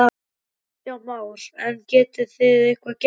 Kristján Már: En getið þið eitthvað gert?